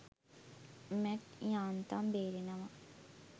Mat යාන්තම් බේරෙනවා.